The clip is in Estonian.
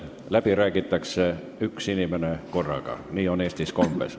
Läbi räägib üks inimene korraga, nii on Eestis kombeks.